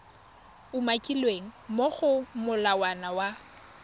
umakilweng mo go molawana wa